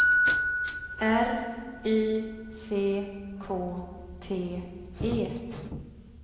R Y C K T E